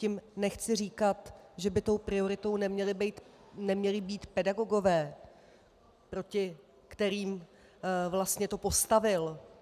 Tím nechci říkat, že by tou prioritou neměli být pedagogové, proti kterým vlastně to postavil.